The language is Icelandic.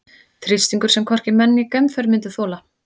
Þrýstingur sem hvorki menn né geimför myndu þola.